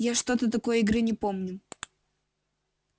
я что-то такой игры не помню